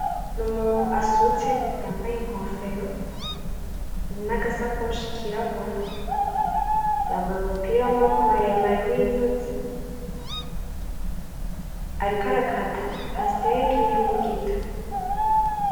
Ni umuntu asutse yambaye inkofero, n'agasakoshi kirabura, yambaye umupira w'amaboko mare mare w'inyuzi, ariko arakata pasiteke n'imbugita.